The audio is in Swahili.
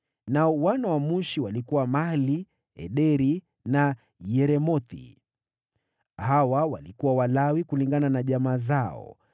Nao wana wa Mushi: walikuwa Mahli, Ederi na Yeremothi. Hawa walikuwa Walawi kulingana na jamaa zao.